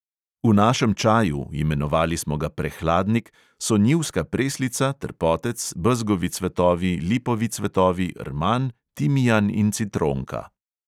V našem čaju, imenovali smo ga prehladnik, so njivska preslica, trpotec, bezgovi cvetovi, lipovi cvetovi, rman, timijan in citronka.